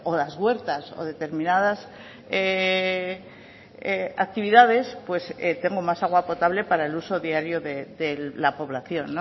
las huertas o determinadas actividades pues tengo más agua potable para el uso diario de la población